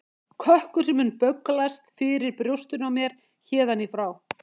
Kökkur sem mundi bögglast fyrir brjóstinu á mér héðan í frá.